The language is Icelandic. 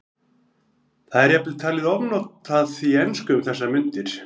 Það er jafnvel talið ofnotað í ensku um þessar mundir.